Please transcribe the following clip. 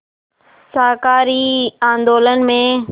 शाकाहारी आंदोलन में